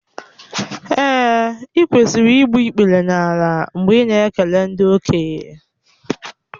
Èè, ị kwesịrị igbu ikpere n’ala mgbe ị na-ekele ndị okenye